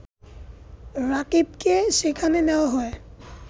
রাকিবকে সেখানে নেয়া হয়